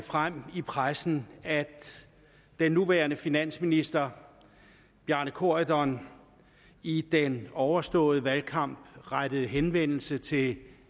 frem i pressen at den nuværende finansminister bjarne corydon i den overståede valgkamp rettet henvendelse til